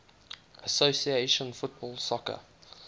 association football soccer